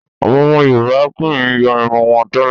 Àwọn ọmọ Yorùbá kì í yọ́ irun wọn tẹ́lẹ̀